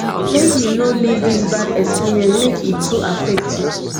make you no leave dis bad experience make e too affect you